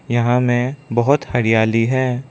यहां में बहोत हरियाली है।